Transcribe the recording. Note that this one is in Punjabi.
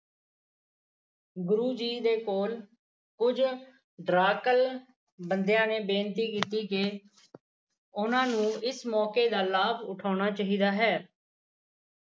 ਗੁਰੂ ਜੀ ਦੇ ਕੋਲ ਕੁਝ ਡਰਾਕਲ ਬੰਦਿਆ ਨੇ ਬੇਨਤੀ ਕੀਤੀ ਕਿ ਉਹਨਾਂ ਨੂੰ ਇਸ ਮੌਕੇ ਕਾ ਲਾਭ ਉਠਾਉਣਾ ਚਾਹੀਦਾ ਹੈ